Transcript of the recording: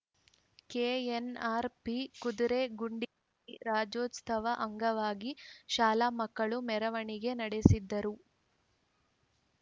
KNRP ಕುದುರೆಗುಂಡಿಯಲ್ಲಿ ರಾಜ್ಯೋತ್ಸವ ಅಂಗವಾಗಿ ಶಾಲಾ ಮಕ್ಕಳು ಮೆರವಣಿಗೆ ನಡೆಸಿದರು